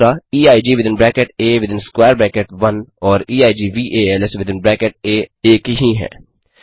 EIG within bracket A within square bracket 1 और equals within bracket A are the same